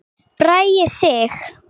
Bragi Sig.